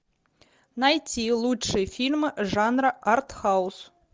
найти лучшие фильмы жанра арт хаус